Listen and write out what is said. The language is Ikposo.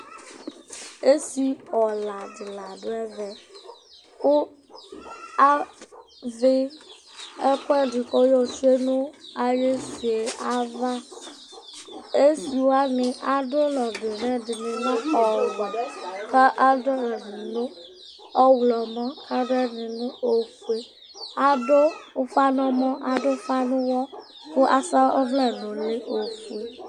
Esiɔla dɩ la ɔdʋ ɛvɛ, kʋ azɛ ɛkʋɛdɩ kʋ ayotsʋe nʋ ayʋ esi yɛ ava Esi wanɩ adʋ ʋlɔ dʋ nʋ ɛdɩ Ɛdɩnɩ lɛ ɔwɛ, kʋ adʋ ʋlɔ dʋ nʋ ɔɣlɔmɔ, kʋ adʋ ɛdɩ dʋ nʋ ofue Adʋ ufa nʋ ɛmɔ, adʋ ufa nʋ ʋwɔ kʋ asa ɔvlɛ ofue nʋ ʋlɩ